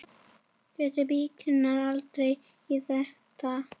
Gæti Víkingur dregist í þetta?